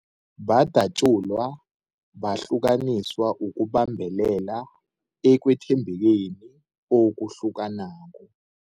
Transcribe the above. Badatjulwa, bahlukaniswa ukubambelela ekwethembekeni okuhlukanako.